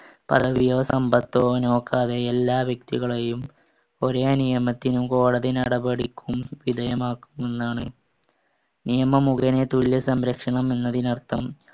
പദവിയോ സമ്പത്തോ നോക്കാതെ എല്ലാ വ്യക്തികളെയും ഒരേ നിയമത്തിനും കോടതിനടപടിക്കും വിധേയമാക്കുന്നാണ്. നിയമം മുഖേനെ തുല്യ സംരക്ഷണം എന്നതിന് അർത്ഥം